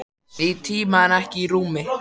Í tíma en ekki í rúmi.